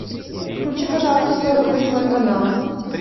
включи пожалуйста сорок восьмой канал